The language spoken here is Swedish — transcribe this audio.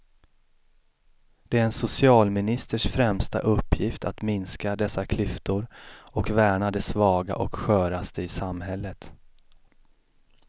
Det är en socialministers främsta uppgift att minska dessa klyftor och värna de svaga och sköraste i samhället.